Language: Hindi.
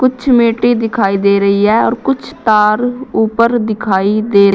कुछ मिट्टी दिखाई दे रही है और कुछ तार ऊपर दिखाई दे--